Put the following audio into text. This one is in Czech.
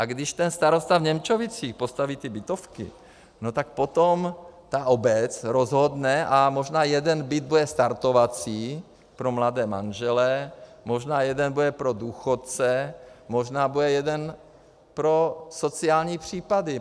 A když ten starosta v Němčovicích postaví ty bytovky, no tak potom ta obec rozhodne a možná jeden byt bude startovací pro mladé manžele, možná jeden bude pro důchodce, možná bude jeden pro sociální případy.